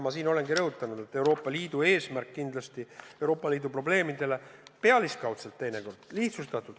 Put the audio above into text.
Ma olengi rõhutanud, et Euroopa Liidu eesmärgile, Euroopa Liidu probleemidele lähenetakse teinekord pealiskaudselt, lihtsustatult.